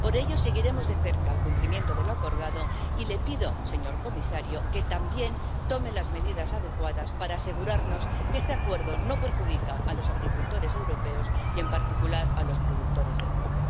Por ello seguiremos de cerca el cumplimiento de lo acordado y le pido, señor comisario, que también tome las medidas adecuadas para asegurarnos de que este acuerdo no perjudica a los agricultores europeos y, en particular, a los productores de arroz.